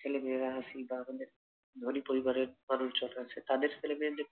ছেলেমেয়েরা আছি বা আমাদের ধনী পরিবারের মানুষজন আছে তাদের ছেলেমেয়েদের